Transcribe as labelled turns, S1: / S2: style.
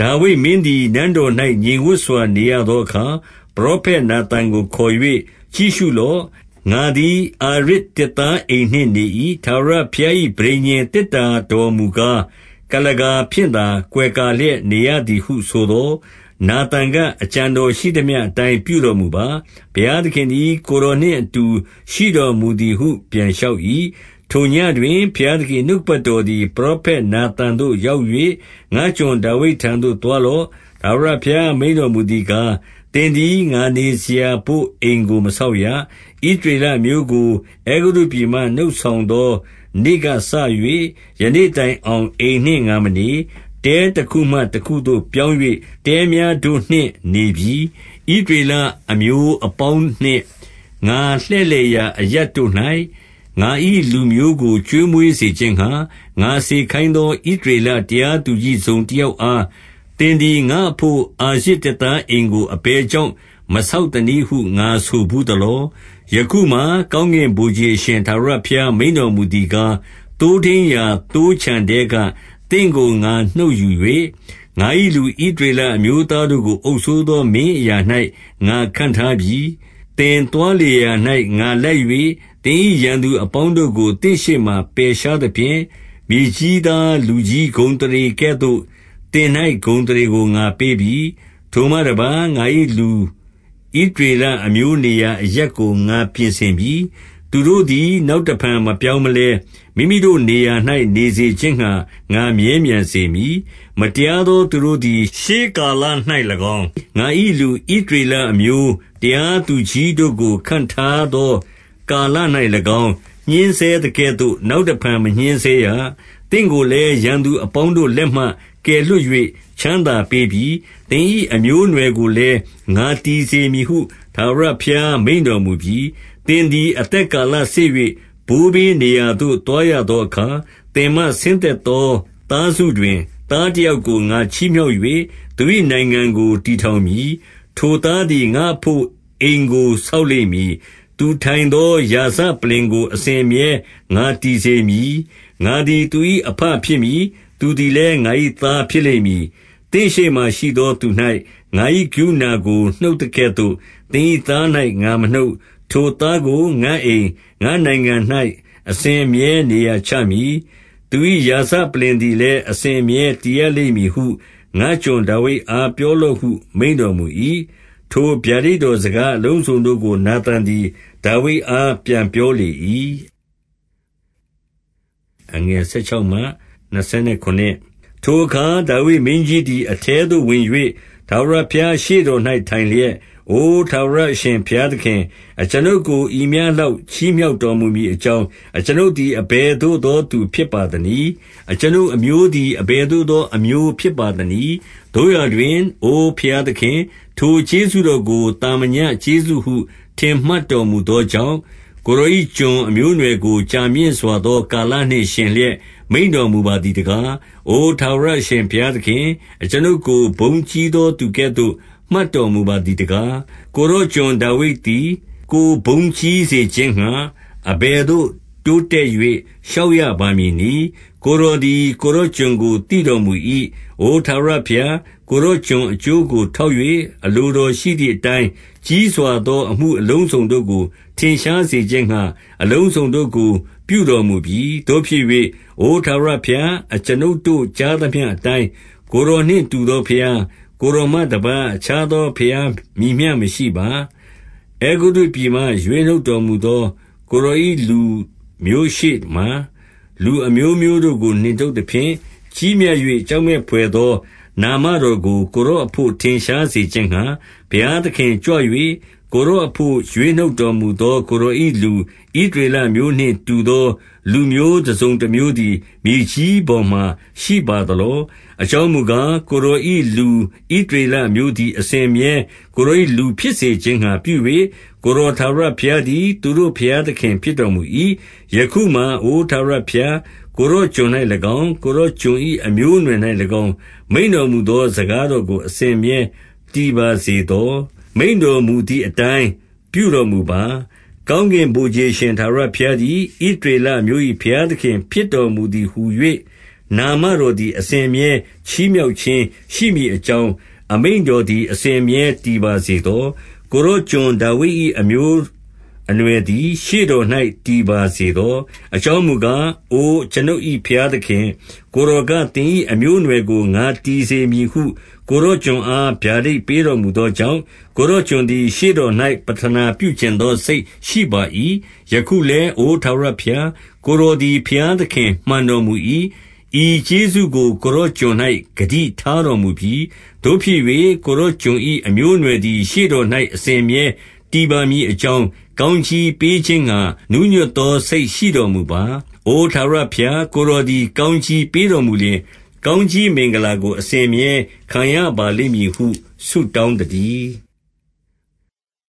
S1: ဒါဝိဒ်မင်းသည် နန်းတော်၌ ငြိမ်ဝပ်စွာနေရသော အခါ၊ ပရောဖက်နာသန်ကိုခေါ်၍ကြည့်ရှုလော့။ ငါသည် အာရဇ်သစ်သားအိမ်နှင့် နေ၏။ ထာဝရဘုရား၏ ပဋိညာဉ်သေတ္တာတော်မူကား ကုလားကာဖြင့်သာ ကွယ်ကာလျက် နေရသည်ဟုဆိုသော်၊ နာသန်ကအကြံတော်ရှိသမျှအတိုင်း ပြုတော် မူပါ။ ဘုရားသခင်သည် ကိုယ်တော်နှင့် အတူရှိတော်မူ သည်ဟု ပြန်လျှောက်၏။ ထိုညဉ့်တွင် ဘုရားသခင်၏နှုတ်ကပတ်တော် သည် ပရောဖက်နာသန်သို့ ရောက်၍၊ ငါ့ကျွန် ဒါဝိဒ်ထံသို့သွားလော့။ ထာဝရဘုရား မိန့်တော်မူသည်ကား၊ သင်သည် ငါနေစရာဘို့အိမ်ကို မဆောက်ရ။ ဣသရေလအမျိုးကို အဲဂုတ္တုပြည်မှ နှုတ်ဆောင် သော နေ့ကစ၍ ယနေ့တိုင်အောင်အိမ်နှင့်ငါမနေ။ တဲတခုမှတခုသို့ပြောင်း၍ တဲများတို့နှင့် နေပြီ။ ဣသရေလအမျိုးအပေါင်းနှင့် ငါလှည့်လည်ရာ အရပ်တို့၌ ငါ၏လူမျိုးကို ကျွေးမွေးစေခြင်းငှါ၊ ငါစေခိုင်း သော ဣသရေလတရားသူကြီးတစုံ တယောက်အား၊ သင်သည် ငါ့အဘို့ အာရဇ်သစ်သားအိမ်ကို အဘယ် ကြောင့် မဆောက်သနည်းဟု ငါဆိုဘူးသလော။ ယခုမှာ ကောင်းကင်ဗိုလ်ခြေအရှင် ထာဝရ ဘုရားမိန့်တော်မူသည်ကား၊ သိုးထိန်းရာသိုးခြံထဲက သင့် ကို ငါနှုတ်ယူ၍၊ ငါ၏လူဣသရေလအမျိုးသားတို့ကို အုပ်စိုး သော မင်းအရာ၌ ငါခန့်ထားပြီ။ သင်သွားလေရာရာ၌ ငါလိုက်၍၊ သင်၏ရန်သူ အပေါင်းတို့ကို သင့်ရှေ့မှာ ပယ်ရှားသဖြင့်၊ မြေကြီးသား လူကြီးဂုဏ်အသရေကဲ့သို့ သင်၌ ဂုဏ်အသရေကို ငါပေး ပြီ။ ထိုမှတပါး၊ ငါ၏လူဣသရေလအမျိုးနေရာ အရပ်ကို ငါပြင်ဆင်ပြီ။ သူတို့သည်နောက်တဖန်မပြောင်း မလဲ၊ မိမိတို့နေရာ၌ နေစေခြင်းငှါ ငါမြဲမြံစေမည်။ မတရားသော သူတို့သည် ရှေးကာလ၌၎င်း၊ ငါ၏လူ ဣသရေလအမျိုး တရားသူကြီးတို့ကို ခန့်ထားသော ကာလ၌၎င်း၊ ညှဉ်းဆဲသကဲ့သို့ နောက် တဖန် မညှဉ်းဆဲရ။ သင့်ကိုလည်း ရန်သူအပေါင်းတို့ လက်မှ ကယ်လွှတ်၍ ချမ်းသာပေးပြီ။ သင်၏အမျိုး အနွှယ်ကိုလည်း ငါတည်စေမည်ဟု ထာဝရဘုရား မိန့်တော်မူပြီ။ သင်သည် အသက်ကာလစေ့၍ ဘိုးဘေးနေရာ သို့ သွားရသောအခါ၊ သင်မှဆင်းသက်သော သားစုတွင်၊ သားတယောက်ကို ငါချီးမြှောက်၍ သူ၏နိုင်ငံကို တည် ထောင်မည်။ ထိုသားသည်ငါ့အဘို့ အိမ်ကိုဆောက်လိမ့်မည်။ သူထိုင်သော ရာဇပလ္လင်ကိုအစဉ်အမြဲငါတည်စေမည်။ ငါသည်သူ၏ အဘဖြစ်မည်။ သူသည်လည်း ငါ၏သားဖြစ်လိမ့်မည်။ သင့်ရှေ့မှာရှိသော သူ၌ ငါ၏ ကရုဏာကို နှုတ်သကဲ့သို့ သင်၏သား၌ ငါမနှုတ်။ ထိုသားကိုငါ့အိမ်၊ ငါ့နိုင်ငံ၌ အစဉ်အမြဲနေရာ ချမည်။သူ၏ ရာဇပလ္လင်သည်လည်း အစဉ်အမြဲတည်ရ လိမ့်မည်ဟု ငါ့ကျွန်ဒါဝိဒ်အား ပြောလော့ဟု မိန့်တော် မူ၏။ ထိုဗျာဒိတ်တော်စကားအလုံးစုံတို့ကို နာသန် သည် ဒါဝိဒ်အားပြန် ပြောလေ၏။ ထိုအခါဒါဝိဒ်မင်းကြီးသည် အထဲသို့ဝင်၍ ထာဝရဘုရားရှေ့တော်၌ထိုင်လျက်၊ အိုထာဝရအရှင် ဘုရားသခင်၊ အကျွန်ုပ်ကို ဤမျှလောက် ချီးမြှောက်တော် မူမည်အကြောင်း အကျွန်ုပ်သည် အဘယ်သို့သော သူဖြစ် ပါသနည်း။ အကျွန်ုပ်အမျိုးသည် အဘယ်သို့သော အမျိုးဖြစ်ပါသနည်း။ သို့ရာတွင် အိုဘုရားသခင်၊ ထိုကျေးဇူးတော်ကို သာမညကျေးဇူးဟု ထင်မှတ်တော်မူသောကြောင့်၊ ကိုယ်တော်ကျွန်၏အမျိုးအနွယ်ကို ကြာမြင့်စွာသော ကာလနှင့်ယှဉ်လျက် မိန့်တော်မူပါသည်တကား။ အို ထာဝရအရှင်ဘုရားသခင်၊ အကျွန်ုပ်ကို ဘုန်းကြီးသော သူကဲ့သို့ မှတ်တော်မူပါသည်တကား။ ကိုယ်တော်ကျွန်ဒါဝိဒ်သည် ကိုယ်ဘုန်းကြီးစေ ခြင်းငှါ၊ အဘယ်သို့ တိုးတက်၍ လျှောက်ရပါမည်နည်း။ ကိုယ်တော်သည် ကိုယ်တော်ကျွန်ကို သိတော်မူ၏။ အိုထာဝရဘုရား၊ ကိုယ်တော်ကျွန်အကျိုးကို ထောက်၍ အလိုတော်ရှိသည်အတိုင်း ဤကြီးစွာသော အမှုအလုံးစုံတို့ကို ထင်ရှားစေခြင်းငှါ အလုံစုံတို့ကို ပြုတော်မူပြီ။ သို့ဖြစ်၍ အိုထာဝရဘုရား၊ အကျွန်ုပ်တို့ ကြားသမျှအတိုင်း ကိုယ်တော်နှင့် တူသောဘုရား၊ ကိုယ်တော်မှတပါးအခြားသော ဘုရားမည်မျှ မရှိပါ။ အဲဂုတ္တုပြည်မှရွေးနှုတ်တော်မူသော ကိုယ်တော် ၏ လူမျိုးရှေ့မှလူအမျိုးမျိုးတို့ကို နှင်ထုတ်သဖြင့်၊ ကြီးမြတ်၍ ကြောက်မက်ဘွယ်သော နာမတော်ကို ကိုယ်တော်အဘို့ ထင်ရှားစေခြင်းငှါ၊ ဘုရားသခင်ကြွ၍ ကိုယ်တော်အဘို့ ရွေးနှုတ်တော်မူသော ကိုယ်တော်၏လူဣသရေလအမျိုး နှင့်တူသော လူမျိုးတစုံတမျိုးသည် မြေကြီးပေါ်မှာ ရှိပါသလော။ အကြောင်းမူကား၊ ကိုယ်တော်၏လူဣသရေလ အမျိုးသည် အစဉ်အမြဲ ကိုယ်တော်၏လူဖြစ်စေခြင်းငှါ ပြု၍၊ ကိုယ်တော်ထာဝရဘုရား သည်သူတို့ဘုရားသခင် ဖြစ်တော်မူ၏။ ယခုမှာအိုထာဝရဘုရား၊ ကိုယ်တော်ကျွန်၌၎င်း၊ ကိုယ်တော်ကျွန်၏အမျိုးအနွယ်၌၎င်း၊ မိန့်တော်မူသော စကားတော် အစဉ်အမြဲ တည်ပါစေသော။ မိန့်တော်မူ သည်အတိုင်း ပြုတော်မူပါ။ ကောင်းကင်ဗိုလ်ခြေအရှင် ထာဝရဘုရားသည် ဣသရေလအမျိုး၏ဘုရားသခင်ဖြစ်တော်မူသည်ဟူ၍ နာမတော်သည် အစဉ်အမြဲ ချီးမြှောက်ခြင်းရှိမည် အကြောင်း၊ အမိန့်တော်သည် အစဉ်အမြဲတည် ပါစေ သော။ ကိုယ်တော်ကျွန်ဒါဝိဒ်၏ အမျိုးအနွယ်သည် ရှေ့တော်၌ တည်ပါစေသော။ အကြောင်းမူကား၊ အိုကျွန်ုပ်၏ဘုရားသခင်၊ ကိုယ်တော်က သင်၏အမျိုးအနွယ်ကို ငါတည်စေမည်ဟု ကိုယ်တော်ကျွန်အား ဗျာဒိတ်ပေးတော်မူသောကြောင့်၊ ကိုယ်တော်ကျွန်သည် ရှေ့တော်၌ ပဌနာပြုချင်သော စိတ်ရှိပါ၏။ ယခုလည်း အိုထာဝရဘုရား၊ ကိုယ်တော်သည် ဘုရားသခင်မှန်တော်မူ၏။ဤကျေးဇူးကို ကိုယ်တော်ကျွန် ၌ ဂတိထားတော်မူပြီ။ သို့ဖြစ်၍ကိုယ်တော်ကျွန်၏ အမျိုးအနွယ်သည် ရှေ့တော်၌ အစဉ်အမြဲတည်ပါမည်အကြောင်း ကောင်း ကြီးပေးခြင်းငှါ နူးညွတ်သော စိတ်ရှိတော်မူပါ။ အိုထာဝရ ဘုရား ကိုယ်တော်သည်ကောင်းကြီးပေးတော်မူလျှင်၊ ကောင်းကြီးမင်္ဂလာကို အစဉ်အမြဲခံရပါလိမ့်မည်ဟု ဆုတောင်းသတည်း။